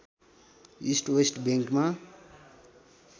east West बैङ्कमा